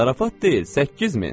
Zarafat deyil, 8000.